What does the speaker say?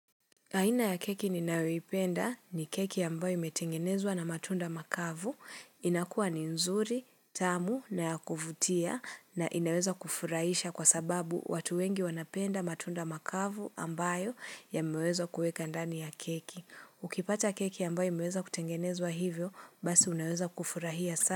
Aina ya keki ninayoipenda ni keki ambayo imetengenezwa na matunda makavu inakua ni nzuri, tamu na ya kuvutia na inaweza kufurahisha kwa sababu watu wengi wanapenda matunda makavu ambayo yameweza kueka ndani ya keki. Ukipata keki ambayo imeweza kutengenezwa hivyo, basi unaweza kufurahia sana.